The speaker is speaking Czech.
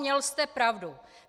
Měl jste pravdu.